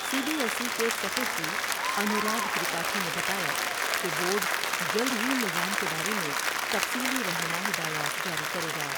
سی B S E کے secretary Anurag Tripathi نے بتایا کہ بورڈ جلد ہی نظام کے بارے میں تفصیلی رہنما ہدایات جاری کرے گا ۔